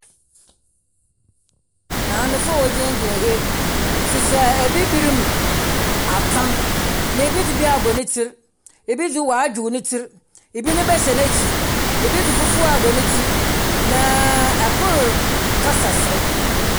Maamefo a wɔgyinagyina ha yi hyehyɛ Abibirim atam. Ebi dze bi abɔ ne tsir, ebi nso wadwow ne tsir. Ebi ne ba hyɛ n’ekyir, ebi dze fufu abɔ ne tsir na ɛkor kasa serew.